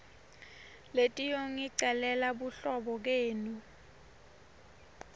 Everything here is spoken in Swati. letiyongicelela buhlobo kenu